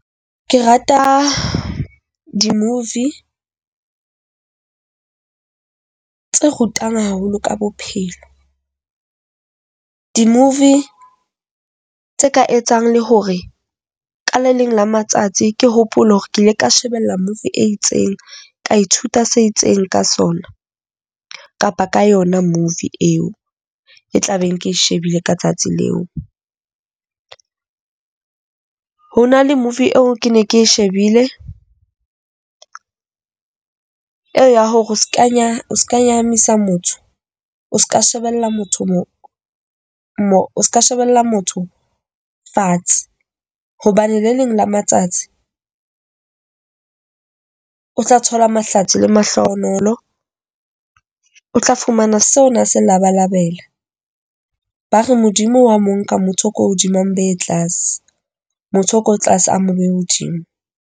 Ke rata di-movie tsa rutang haholo ka bophelo. Di-movie tse ka etsang le hore kaleleng la matsatsi ke hopole hore ke ile ka shebella movie e itseng ka ithuta se itseng ka sona kapa ka yona movie eo e tla beng ke shebile ka tsatsi leo. Ho na le Movie eo ke ne ke shebile eya hore o Ska Nyahama, Nyahamisa motho o Ska Shebella motho mo mo o ska. Shebella motho fatshe . Hobane le leng la matsatsi o tla thola mahlatsi le mahlohonolo. O tla fumana seo a na se labalabela. Ba re Modimo wa mo nka motho ko hodimang be tlase , motho o ko tlase a mo behe hodimo.